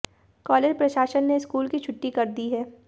college प्रशासन ने school की छुट्टी कर दी है